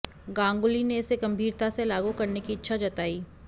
गांगुली ने इसे गंभीरता से लागू करने की इच्छा जताई